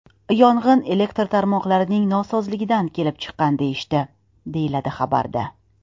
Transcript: Yong‘in elektr tarmoqlarining nosozligidan kelib chiqqan deyishdi”, deyiladi xabarda.